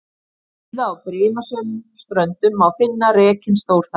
Víða á brimasömum ströndum má finna rekinn stórþara.